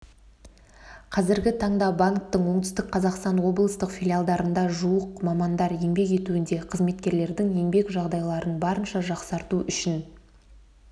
қазіргі таңда банктің оңтүстік қазақстан облыстық филиалдарында жуық мамандар еңбектенуде қызметкерлердің еңбек жағдайларын барынша жақсарту үшін